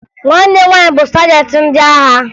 Nwanne m nwaanyị bụ sajentị ndị agha